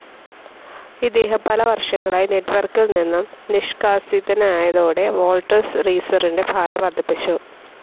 ഇദ്ദേഹം പല വർഷങ്ങളായി നെറ്റ്‌വർക്കിൽ നിന്നും നിഷ്കാസിതനായതോടെ, വോൾട്ടേഴ്സ്, റീസെറിൻ്റെ ഭാരം വർധിപ്പിച്ചു.